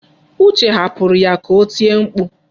Uche hapụrụ ya ka o tie mkpu.